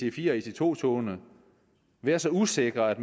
ic4 og ic2 togene være så usikre at